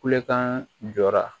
Kulekan jɔra